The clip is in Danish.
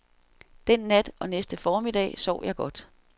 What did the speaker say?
Den nat og næste formiddag sov jeg godt.